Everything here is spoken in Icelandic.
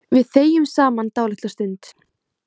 Við þegjum saman dálitla stund.